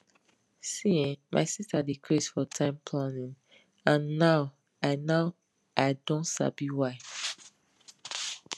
see[um]my sister dey craze for time planning and now i now i don sabi why